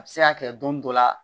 A bɛ se ka kɛ don dɔ la